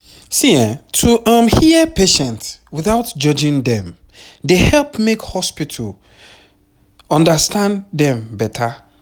to um hear patient without judging dem dey help make hospital understand dem beta